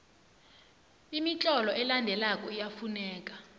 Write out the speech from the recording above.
imitlolo elandelako iyafuneka